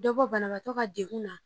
Dɔ bɔ banabatɔ ka dekun na.